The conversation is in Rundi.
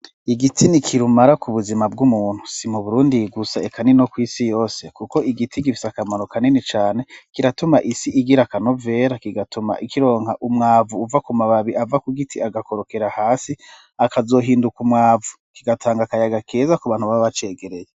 Igitsi ni kirumara ku buzima bw'umuntu simu burundi yigusa ekanino ko isi yose, kuko igiti gifisa akamaro kaneni cane kiratuma isi igira akanovera kigatuma ikironka umwavu uva ku mababi ava ku giti agakorokera hasi akazohinduka umwavu kigatanga akayaga keza ku bantu babacegereye.